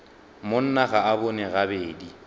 monna ga a bone gabedi